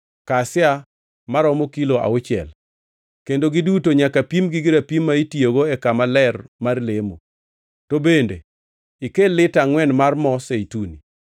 kasia maromo kilo auchiel, kendo giduto nyaka pimgi gi rapim ma itiyogo e kama ler mar lemo, to bende ikel lita angʼwen mar mo zeituni.